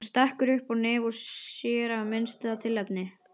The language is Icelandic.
Hún stekkur upp á nef sér af minnsta tilefni.